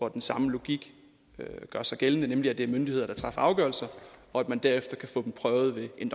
at den samme logik gør sig gældende nemlig at det er myndigheder der træffer afgørelser og at man derefter kan få dem prøvet ved en